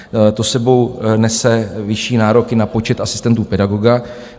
To s sebou nese vyšší nároky na počet asistentů pedagoga.